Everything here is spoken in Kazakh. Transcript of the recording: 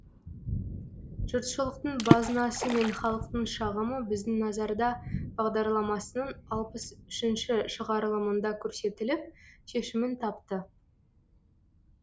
жұртшылықтың базынасы мен халықтың шағымы біздің назарда бағдарламасының алпыс үшінші шығарылымында көрсетіліп шешімін тапты